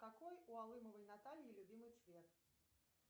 какой у алымовой натальи любимый цвет